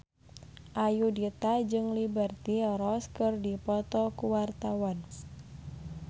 Ayudhita jeung Liberty Ross keur dipoto ku wartawan